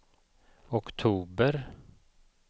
oktober